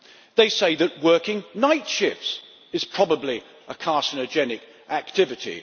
they say that working night shifts is probably a carcinogenic activity